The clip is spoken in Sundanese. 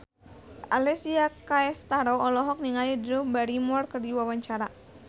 Alessia Cestaro olohok ningali Drew Barrymore keur diwawancara